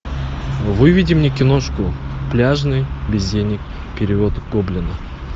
выведи мне киношку пляжный бездельник перевод гоблина